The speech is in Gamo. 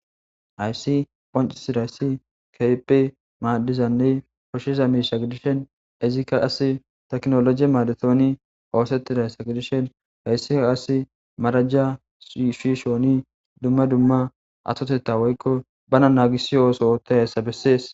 ayssi ponci sidayssi keephe maaddizanney koshshiza miisha gidishen izikka as teknoloji maadetooni oosettidayssa gidishen hayssika as marajja shishooni dumma dumma atotetta woykko bana naagisi ooso ootta hayssa bessees